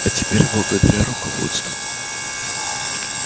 а теперь благодаря руководству